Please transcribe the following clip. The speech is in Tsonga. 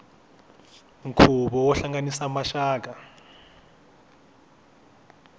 nkhuvo wo hlanganisa maxaka